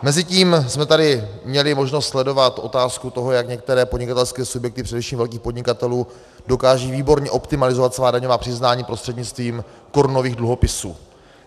Mezitím jsme tady měli možnost sledovat otázku toho, jak některé podnikatelské subjekty, především velkých podnikatelů, dokážou výborně optimalizovat svá daňová přiznání prostřednictvím korunových dluhopisů.